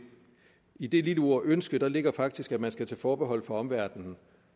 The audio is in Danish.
i det lille ord ønske ligger faktisk at man skal tage forbehold for omverdenen